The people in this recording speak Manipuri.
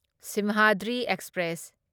ꯁꯤꯝꯍꯗ꯭ꯔꯤ ꯑꯦꯛꯁꯄ꯭ꯔꯦꯁ